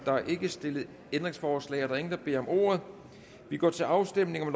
er ikke stillet ændringsforslag der er ingen der beder om ordet og vi går til afstemning